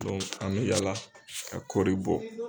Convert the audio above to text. an bɛ yaala ka kɔɔri bɔ.